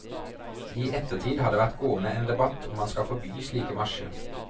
I ettertid har det vært gående en debatt om man skal forby slike marsjer.